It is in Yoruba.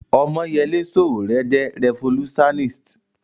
Ọmọ́yẹlé Sòwòrẹ́ jẹ́ rẹfolúsáníst